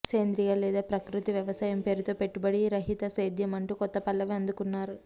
సేంద్రియ లేదా ప్రకృతి వ్యవసాయం పేరుతో పెట్టుబడి రహిత సేద్యం అంటూ కొత్త పల్లవి అందుకున్నారు